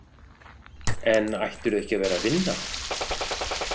En ættirðu ekki að vera að vinna?